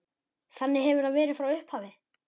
Þannig hefur það verið frá upphafi.